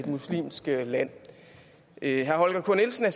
muslimsk land herre holger k nielsen er